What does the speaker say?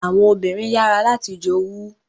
Àwọn obìnrin yàrá láti jowu.